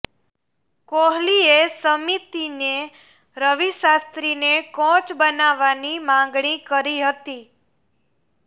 કોહલીએ સમિતિને રવિ શાસ્ત્રીને કોચ બનાવવાની માંગણી કરી હતી